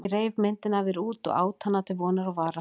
Ég reif myndina af þér út og át hana til vonar og vara.